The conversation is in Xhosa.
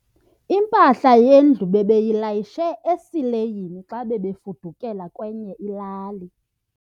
Impahla yendlu bebeyilayishe esileyini xa bebefudukela kwenye ilali.